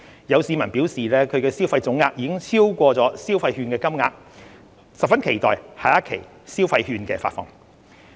有市民表示其消費總額已超過消費券的金額，十分期待下一期消費券的發放。